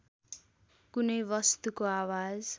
कुनै वस्तुको आवाज